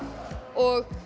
og